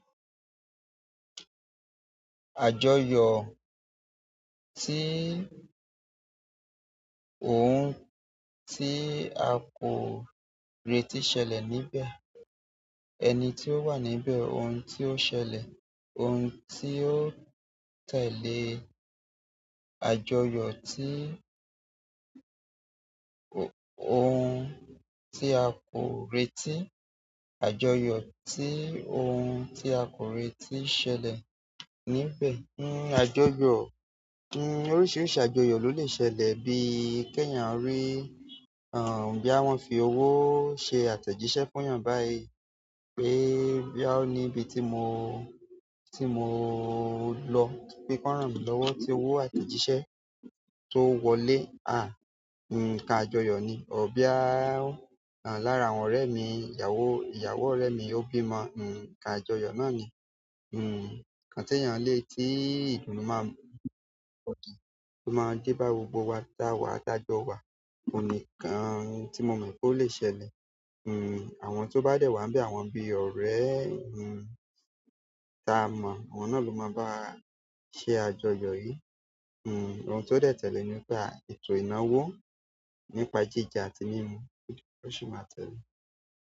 Àjọyọ̀ tí ohun tí a kò retí ṣẹlẹ̀ níbẹ̀, ẹni tí ó wà níbẹ̀, ohun tí ó ṣẹlẹ̀, ohun tí ó tẹ̀lé àjọyọ̀ tí ohun tí a kò retí, àjọyọ̀ tí ohun tí a kò retí ṣẹlẹ̀ níbẹ̀. Hmm àjọyọ̀, hmm oríṣiríṣi àjọyọ̀ ló lè ṣẹlẹ̀ bíi kí èèyàn rí, bóyá wọn fi owó ṣe àtẹ̀jíṣẹ́ fún èèyàn báyìí pé bóyá ó níbi tí mo, tí mo lọ, pé kí wọ́n rànmí lọ́wọ́ ti owó àtẹ̀jíṣẹ́ tó wọlé. À, ǹkan àjọyọ̀ ni. Bóyá, lára àwọn ọ̀rẹ́ mi, ìyàwó, ìyàwó ọ̀rẹ́ mi ó bímọ, nǹkan àjọyọ̀ náà ni. Nǹkan tí èèyàn lè tí ìdùnnú máa, tó máa dé bá gbogbo wa ta wà, ta jọ wà. Òun nìkan tí mo mọ̀ pé ó lè ṣẹlẹ̀. Àwọn tó bá dẹ̀ wá ńbẹ̀ àwọn bí ọ̀rẹ́ mi, tí a mọ̀, àwọn náà ló máa bá wa ṣe àjọyọ̀ yìí. Ohun tó dẹ̀ tẹ̀lé ni pé ètò ìnáwó nípa jíjẹ àti mímu ó sì máa tẹ̀le.